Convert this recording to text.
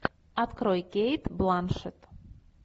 открой кейт бланшетт